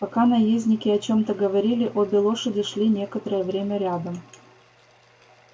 пока наездники о чём-то говорили обе лошади шли некоторое время рядом